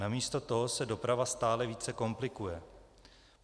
Namísto toho se doprava stále více komplikuje.